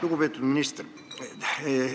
Lugupeetud minister!